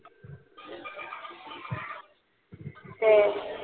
হ্যাঁ